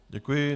Děkuji.